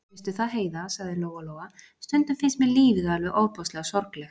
Veistu það, Heiða, sagði Lóa-Lóa, stundum finnst mér lífið alveg ofboðslega sorglegt.